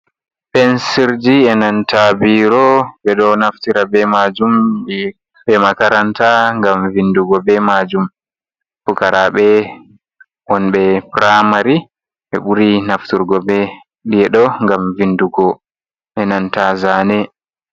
Pensirji e nanta biro. Ɓe ɗo naftira be majum be be makaranta ngam vindugo be majum. Pukaraɓe won ɓe puramari ɓe ɓuri nafturgo be ɗi ɗo gam vindugo e nanta zane.